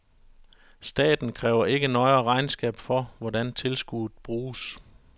Staten kræver ikke nøjere regnskab for, hvordan tilskuddet bruges.